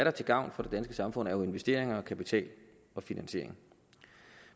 er til gavn for det danske samfund er jo investeringer og kapital og finansiering